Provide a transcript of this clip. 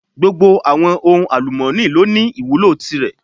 Gbogbo àwọn ohun àlùmọ́ni lọ ní ìwúlò tìrẹ.